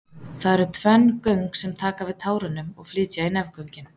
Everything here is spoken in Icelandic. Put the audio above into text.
Þar eru tvenn göng sem taka við tárunum og flytja í nefgöngin.